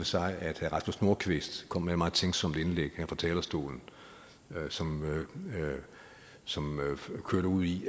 sig at herre rasmus nordqvist kom med et meget tænksomt indlæg her fra talerstolen som som kørte ud i